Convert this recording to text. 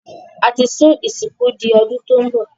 A ti sún ìsìnkú di ọdún tí óún bọ̀